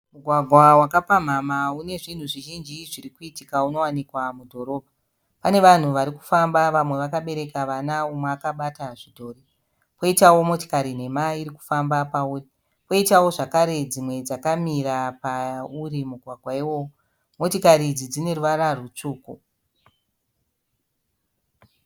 Mugwagwa wakapamhamha une zvinhu zvizhinji zviri kuitika unowanikwa mudhorobha. Pane vanhu vari kufamba vamwe vakabereka vana umwe akabata zvidhori. Kwoitawo motikari nhema iri kufamba pauri. Poitawo zvakare dzimwe dzakamira pauri mugwagwa iwoyo. Motikari idzi dzine ruvara rutsvuku.